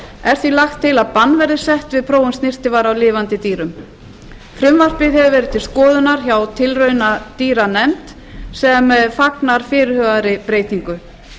er því lagt til að bann verði sett við prófun snyrtivara á lifandi dýrum frumvarpið hefur verið til skoðunar hjá tilraunadýranefnd sem fagnar fyrirhugaðri breytingu